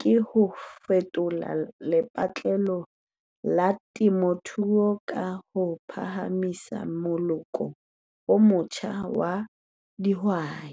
ke ho fetola lepatlelo la temothuo ka ho phahamisa moloko o motjha wa dihwai.